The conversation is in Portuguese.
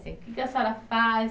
Que que a senhora faz?